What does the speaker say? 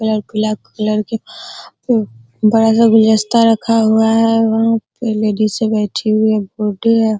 गुलाब colour के बड़ा सा गुलदस्ता रखा हुआ है वहाँ पर लेडीज बैठी हुई है बुढ़ी है।